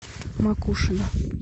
макушино